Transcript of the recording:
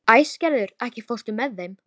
Æsgerður, ekki fórstu með þeim?